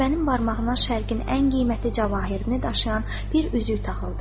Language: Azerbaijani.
Qətibənin barmağına Şərqin ən qiymətli cəvahiratını daşıyan bir üzük taxıldı.